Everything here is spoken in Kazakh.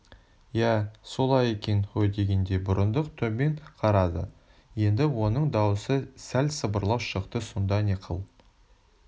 иә солай екен ғойдегендей бұрындық төмен қарады енді оның даусы сәл сылбырлау шықты сонда не қыл